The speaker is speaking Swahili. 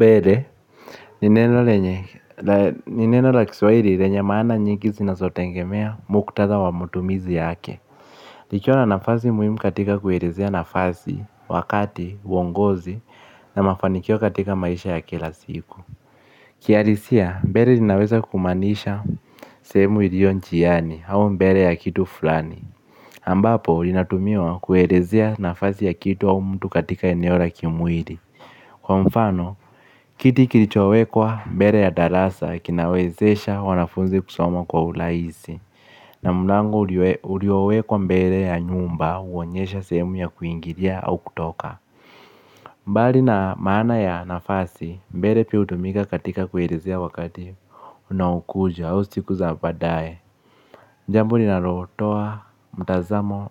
Redhe, ni neno la Kiswahili renye maana nyingi zinazotengemea muktadha wa matumizi yake. Nikiwa na nafasi muhimu katika kuerezea nafasi, wakati, uongozi, na mafanikio katika maisha ya kila siku. Kiadisia, mbere linaweza kumaanisha sehemu ilionchiyani, hau mbere ya kitu fulani. Ambapo, lina tumiwa kuerezea nafasi ya kitu au mtu katika eneora kimwiri. Kwa mfano, kiti kilichowekwa mbere ya darasa kinawezesha wanafunzi kusoma kwa ulaisi. Na mlango uliowekwa mbere ya nyumba, huonyesha sehemu ya kuingiria au kutoka. Mbari na maana ya nafasi, mbere pia utumika katika kuelerezea wakati unaokuja au sikuzabaadae. Njambo ni narotoa, mtazamo,